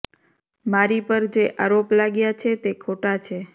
મારી પર જે આરોપ લાગ્યા છે તે ખોટા છે